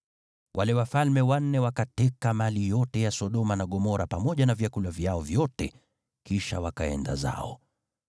Wale wafalme wanne wakateka mali yote ya Sodoma na Gomora pamoja na vyakula vyao vyote, kisha wakaenda zao.